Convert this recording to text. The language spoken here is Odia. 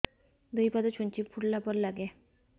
ଦୁଇ ପାଦ ଛୁଞ୍ଚି ଫୁଡିଲା ପରି ଲାଗେ